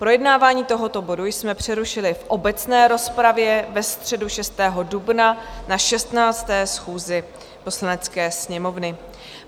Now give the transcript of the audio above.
Projednávání tohoto bodu jsme přerušili v obecné rozpravě ve středu 6. dubna na 16. schůzi Poslanecké sněmovny.